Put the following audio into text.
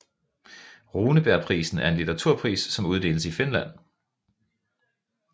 Runebergprisen er en litteraturpris som uddeles i Finland